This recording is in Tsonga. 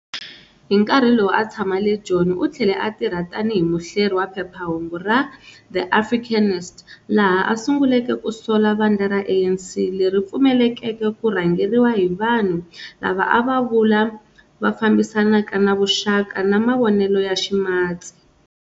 Hinkarhi lowu a a tshama le Joni, uthlele a tirha tani hi muhleri wa phephahungu ra"The Africanist " laha a sunguleke ku sola vandla ra ANC leri pfumeleleke ku rhangeriwa hi vanhu lava a a va vula"Va fambisanaka na vuxaka na mavonele ya Ximatsi".